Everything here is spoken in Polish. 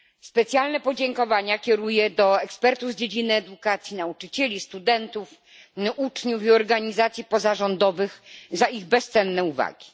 Specjalne podziękowania kieruję do ekspertów z dziedziny edukacji, nauczycieli, studentów, uczniów i organizacji pozarządowych za ich bezcenne uwagi.